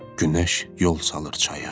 Günəş yol salır çaya.